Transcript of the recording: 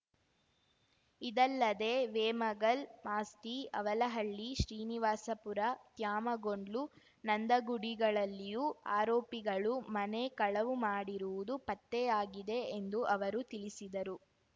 ಇದಲ್ಲದೆ ವೇಮಗಲ್ ಮಾಸ್ತಿ ಅವಲಹಳ್ಳಿ ಶ್ರೀನಿವಾಸಪುರ ತ್ಯಾಮಗೊಂಡ್ಲು ನಂದಗುಡಿಗಳಲ್ಲಿಯೂ ಆರೋಪಿಗಳು ಮನೆ ಕಳವು ಮಾಡಿರುವುದು ಪತ್ತೆಯಾಗಿದೆ ಎಂದು ಅವರು ತಿಳಿಸಿದರು